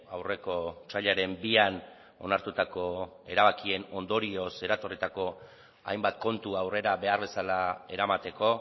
aurreko otsailaren bian onartutako erabakien ondorioz eratorritako hainbat kontu aurrera behar bezala eramateko